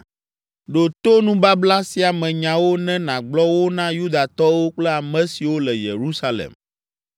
“Ɖo to nubabla sia me nyawo ne nàgblɔ wo na Yudatɔwo kple ame siwo le Yerusalem.